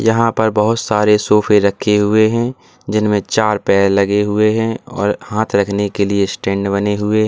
यहां पर बहुत सारे सोफे रखे हुए हैं जिनमें चार पैर लगे हुए हैं और हाथ रखने के लिए स्टैंड बने हुए हैं।